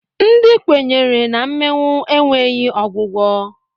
Ndị kwenyere na mmịnwụ enweghi ọgwụgwọ.